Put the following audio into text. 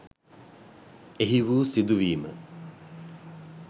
එහි වූ සිදුවීම